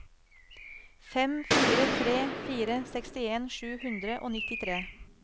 fem fire tre fire sekstien sju hundre og nittitre